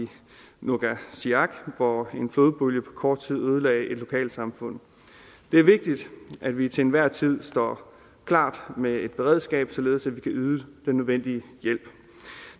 nuugaatsiaq hvor en flodbølge på kort tid ødelagde et lokalsamfund det er vigtigt at vi til enhver tid står klar med et beredskab således at vi kan yde den nødvendige hjælp